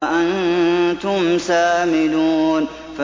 وَأَنتُمْ سَامِدُونَ